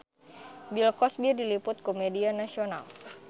Bill Cosby diliput ku media nasional